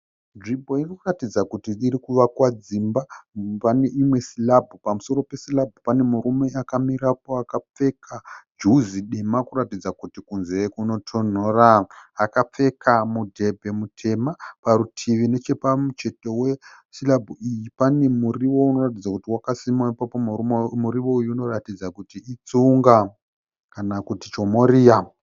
Nzvimbo irikuratidza kuti irikuvakwa dzimba, pane imwe sirabhu, pamusoro pesirabhu pane murume akamirapo akapfeka juzi kuratidza kuti kurikutonhora akapfeka mudhebhe mutema , parutivi nechepamucheto wesirabhu iyi pane muriwo unoratidza kuti wakasimwa ipapo muriwo uyu unoratidza kuti itsunga kana kuti chomoria.